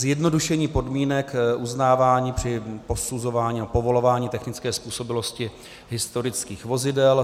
Zjednodušení podmínek uznávání při posuzování a povolování technické způsobilosti historických vozidel.